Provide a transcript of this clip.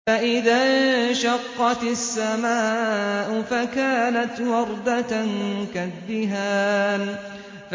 فَإِذَا انشَقَّتِ السَّمَاءُ فَكَانَتْ وَرْدَةً كَالدِّهَانِ